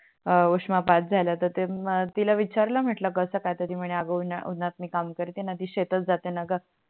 हा उष्णपात झाल तर ते तिला विचार मी म्हटल कस काय तर ती म्हणे अग उनातणी मी काम करते णा ती शेतात जाते णा ग